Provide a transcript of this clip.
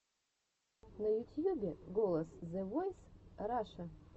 на ютьюбе голос зэ войс раша